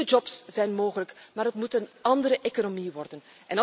Nieuwe jobs zijn mogelijk. Maar het moet een andere economie worden.